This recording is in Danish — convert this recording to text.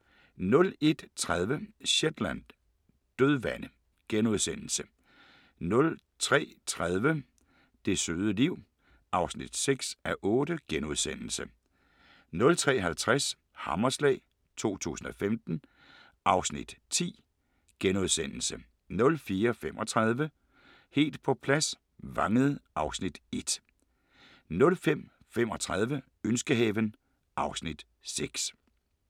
01:30: Shetland: Dødvande * 03:30: Det søde liv (6:8)* 03:50: Hammerslag 2015 (Afs. 10)* 04:35: Helt på plads – Vangede (Afs. 1) 05:35: Ønskehaven (Afs. 6)